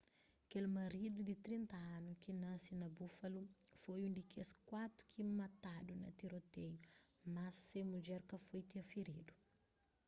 kel maridu di 30 anu ki nasi na buffalo foi un di kes kuatu ki matadu na tiroteiu más se mudjer ka foi firidu